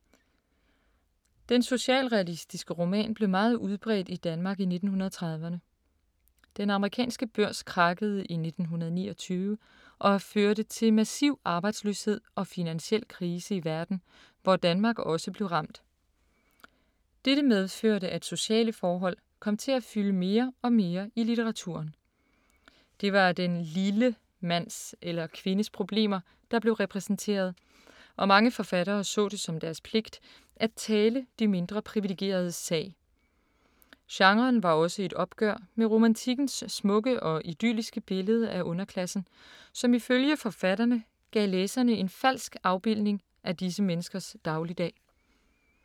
Den socialrealistiske roman blev meget udbredt i Danmark i 1930’erne. Den amerikanske børs krakkede i 1929, og førte til massiv arbejdsløshed og finansiel krise i verden, hvor Danmark også blev ramt. Dette medførte, at sociale forhold kom til at fylde mere og mere i litteraturen. Det var den ”lille” mands eller kvindes problemer, der blev repræsenteret, og mange forfattere så det som deres pligt at tale de mindre privilegeredes sag. Genren var også et opgør med romantikkens smukke og idylliske billede af underklassen, som ifølge forfatterne gav læserne en falsk afbildning af disse menneskers dagligdag.